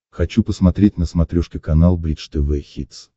хочу посмотреть на смотрешке канал бридж тв хитс